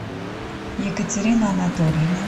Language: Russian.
екатерины анатольевны